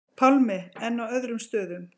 Pálmi: En á öðrum stöðum?